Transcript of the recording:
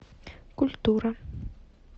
культура